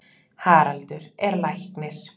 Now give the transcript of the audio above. Haraldur er læknir.